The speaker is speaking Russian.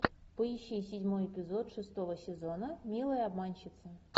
поищи седьмой эпизод шестого сезона милые обманщицы